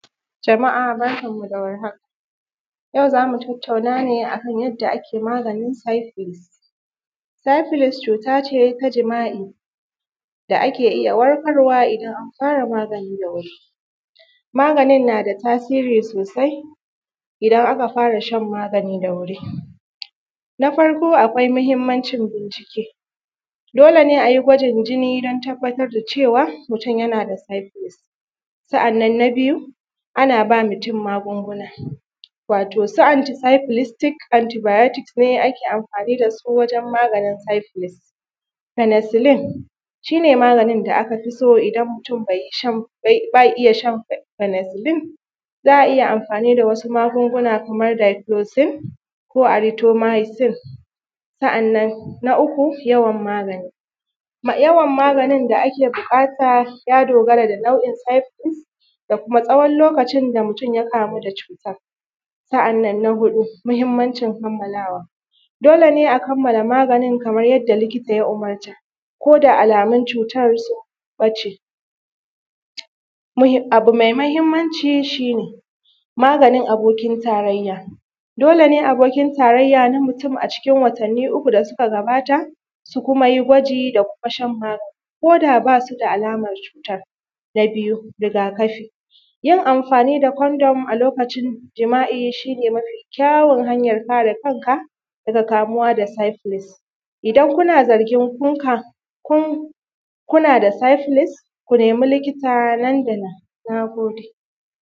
jama`a barkan mu da war haka yau zamu tattauna ne a kan yadda ake maganin “syphilis” “syphilis” cuta ce ta jima`i da ake iya warkarwa idan an fara magani da wuri, maganin na da tasiri sosai idan aka fara shan maganin da wuri, na farko akwai mahimmancin bincike dole ne ayi gwajin jinni don tabbatar da cewa mutum yana da “syphilis” sa`annan na biyu, ana ba mutum magunguna watau su “anti syphilis tick anti biotics” ne ake amfani da su wajen maganin “syphilis peneciline” shi ne maganin da aka fi so idan mutum bai shan baya iya shan “peneciline” za`a iya amfani da wasu magunguna kamar “difloxin ko aritomicine” sa`annan na uku yawan magani yawan maganin da ake buƙata ya dogara ga nau`o`in “syphilis” da kuma tsawon lokacin da mutum ya kamu da cutan sa`annan na huɗu mahimmancin kammalawa dole ne a kammala maganin kaman yadda likita ya umurce ko da alamun cutar sun ɓace abu mai mahimmanci shi ne magani abokin tarayya dole ne abokin tarayya na mutum a cikin watanni uku da suka gabata su kuma yi gwaji da kuma shan magani ko da basu da alaman cutar na biyu riga kafi yin amfani da “condom” a lokacin jima`i shi ne mafi kyawun hanyar kare kanka daga kamuwa da “syphilis” idan kuna zargin kun kam kun kun da “syphilis” ko nemi likita nan da nan na gode.